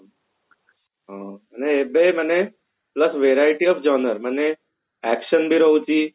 ହଁ ଏବେ ମାନେ worth verity of joiner ମାନେ action ବି ରହୁଛି